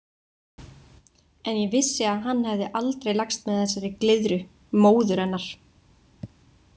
En ég vissi að hann hefði aldrei lagst með þessari glyðru, móður hennar.